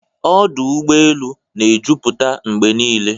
Ọdụ ụgbọ elu na-ejupụta mgbe niile.